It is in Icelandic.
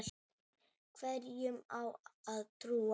Hverjum á að trúa?